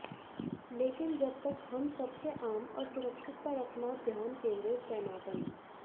लेकिन जब तक हम सबसे आम और सुरक्षित पर अपना ध्यान केंद्रित पैनापन